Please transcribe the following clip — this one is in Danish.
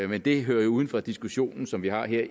men det hører jo uden for diskussionen som vi har her